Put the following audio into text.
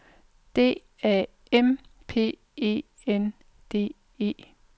D A M P E N D E